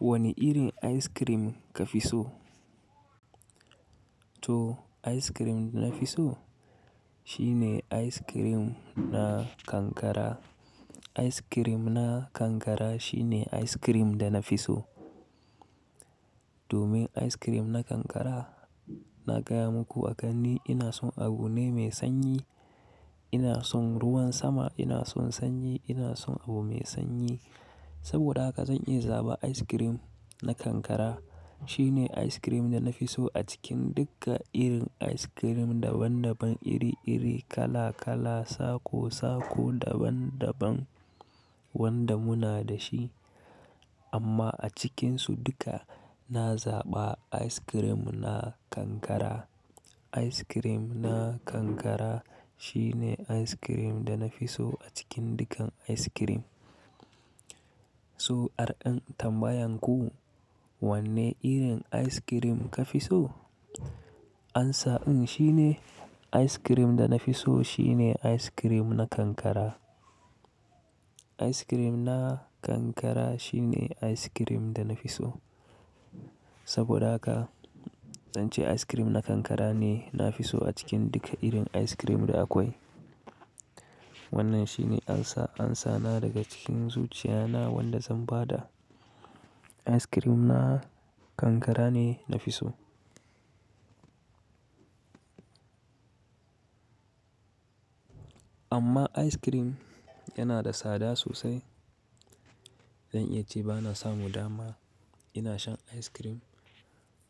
Wane irin ice cream ka fi so? To ice cream da na fi so shine ice cream na kankara. Ice cream na kankara shine ice cream da na fi so. Domin ice cream na kankara, na gaya muku a gani ina son abu ne mai sanyi, ina son ruwan sama, ina son sanyi, ina son abu mai sanyi. Saboda haka zan iya zaba ice cream na kankara. Shine ice cream da na fi so a cikin duka irin ice cream daban daban, iri iri, kala kala, sako sako, daban daban wanda muna da shi. Amma a cikinsu duka na zaɓa ice cream na kankara. Ice cream na kankara shine ice cream da na fi so a cikin dukan ice cream. So, arin tambayan ku, wanne irin ice cream ka fi so? Amsa din shine ice cream da na fi so shine ice cream na kankara. Ice cream na kankara shine ice cream da na fi so. Saboda haka, zan ce ice cream na kankara ne na fi so a cikin duka irin ice cream da akwai. Wannan shine ansa, amsa na daga cikin zuciya na wanda zan bada ice cream na kankara ne na fi so. Amma ice cream yana da tsada sosai. Zan iya ce ba na samu dama ina shan ice cream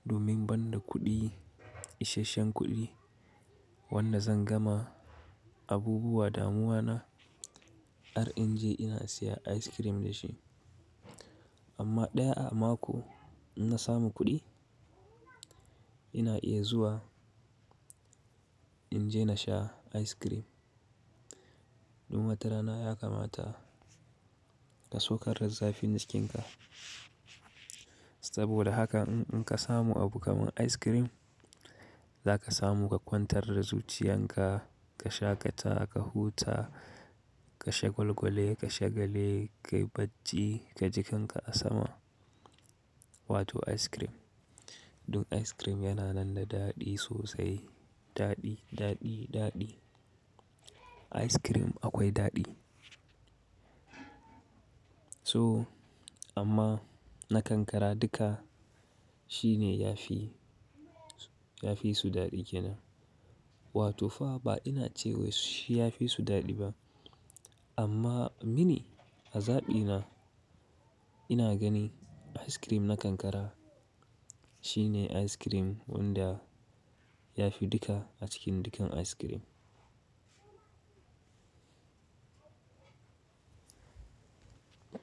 domin ban da kuɗi, isasshen kuɗi wanda zan gama abubuwan damuwana har in je ina siyan ice cream da shi. Amma ɗaya a mako in na samu kuɗi, ina iya zuwa in je na sha ice cream. Don wata rana ya kamata ka saukar da zafi naskinka. Saboda haka in ka samu abu kamar ice cream, za ka samu ka kwantar da zuciyan ka, ka shaƙata, ka huta, ka shagolgole, ka shagale, ka yi bacci, ka ji kanka a sama. Wato ice cream. Dun ice cream yana nan da daɗi sosai. Daɗi, daɗi, daɗi. Ice cream akwai daɗi. So, amma na kankara duka shine ya fi, ya fi su daɗi kenan. Wato fa ba ina cewa shi ya fi su daɗi ba. Amma mini a zaɓi na, ina gani ice cream na kankara shine ice cream wanda ya fi duka a cikin dukan ice cream.